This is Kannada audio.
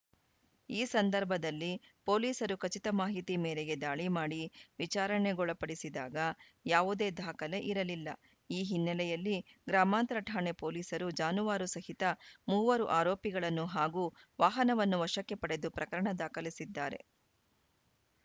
ಈ ಸಂದರ್ಭದಲ್ಲಿ ಪೊಲೀಸರು ಖಚಿತ ಮಾಹಿತಿ ಮೇರೆಗೆ ದಾಳಿ ಮಾಡಿ ವಿಚಾರಣೆಗೊಳಪಡಿಸಿದಾಗ ಯಾವುದೆ ದಾಖಲೆ ಇರಲಿಲ್ಲ ಈ ಹಿನ್ನೆಲೆಯಲ್ಲಿ ಗ್ರಾಮಾಂತರ ಠಾಣೆ ಪೊಲೀಸರು ಜಾನುವಾರು ಸಹಿತ ಮೂವರು ಆರೋಪಿಗಳನ್ನು ಹಾಗೂ ವಾಹನವನ್ನು ವಶಕ್ಕೆ ಪಡೆದು ಪ್ರಕರಣ ದಾಖಲಿಸಿದ್ದಾರೆ